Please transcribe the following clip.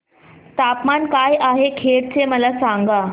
तापमान काय आहे खेड चे मला सांगा